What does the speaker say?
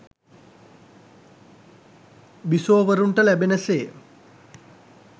බිසෝවරුන්ට ලැබෙන සේ